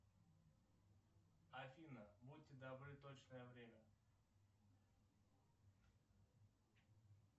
афина будьте добры точное время